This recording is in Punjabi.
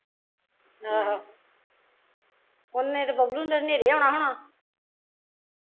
ਆਹੋ ਓਨੇ ਚ ਬੱਬਲੂ ਨੇ ਤੇ ਨੇਰੇ ਆਉਣਾ ਹੋਣਾ